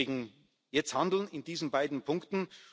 Deswegen Jetzt handeln, in diesen beiden Punkten!